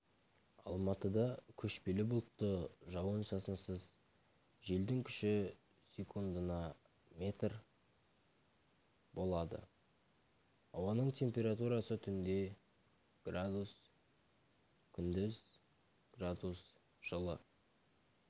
алматыда көшпелі бұлтты жауын-шашынсыз желдің күші секундына метр болады ауаның температурасы түнде градус күндіз градус жылы